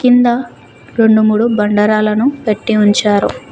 కింద రెండు మూడు బండరాలను పెట్టి ఉంచారు.